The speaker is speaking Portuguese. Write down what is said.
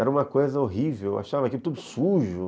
Era uma coisa horrível, eu achava aquilo tudo sujo.